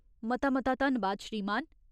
मता मता धन्नबाद, श्रीमान !